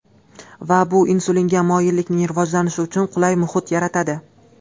Va bu insulinga moyillikning rivojlanishi uchun qulay muhit yaratadi.